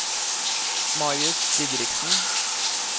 Marius Didriksen